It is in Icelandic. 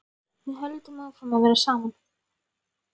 Við höldum áfram að vera saman.